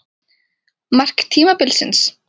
Mark tímabilsins?